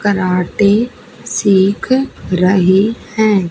Karate सीख रही है।